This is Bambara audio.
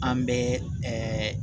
An bɛ